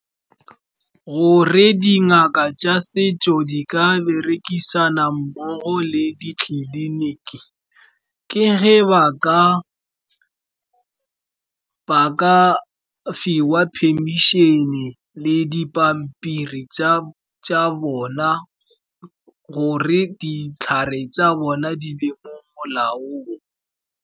Gore dingaka tsa setso di ka berekisana mmogo le ditleliniki, ke ge ba ka fiwa permission-e le dipampiri tsa bona, gore ditlhare tsa bona di be mo molaong.